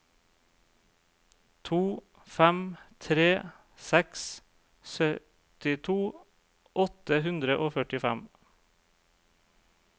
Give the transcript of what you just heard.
to fem tre seks syttito åtte hundre og førtifem